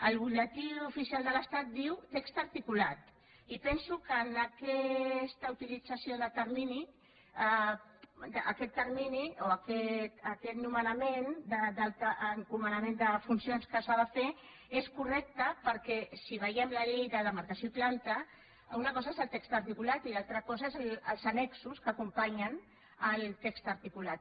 el butlletí oficial de l’estat diu text articulat i penso que en aquesta utilització de termini aquest termini o aquest nomenament encomanda de funcions que s’ha de fer és correcte perquè si veiem la llei de demarcació i planta una cosa és el text articulat i una altra cosa són els annexos que acompanyen el text articulat